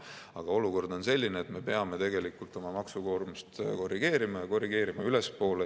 Aga olukord on selline, et me peame tegelikult oma maksukoormust korrigeerima, ja korrigeerima ülespoole.